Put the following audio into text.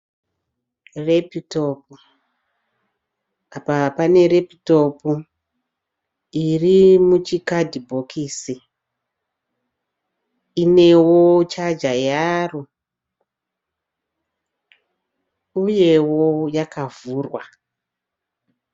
Repitopu. Apa pane repitopu iri muchikadhibhokisi inewo chaja yaro uyewo yakavhurwa.